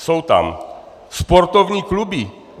Jsou tam sportovní kluby.